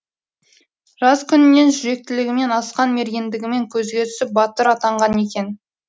жас күнінен жүректілігімен асқан мергендігімен көзге түсіп батыр атанған екен